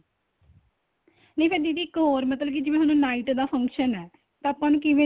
ਨਹੀਂ ਫ਼ੇਰ ਦੀਦੀ ਇੱਕ ਹੋਰ ਮਤਲਬ ਕੀ ਜਿਵੇਂ ਹੁਣ night ਦਾ function ਏ ਤਾਂ ਆਪਾਂ ਨੂੰ ਕਿਵੇ ਦਾ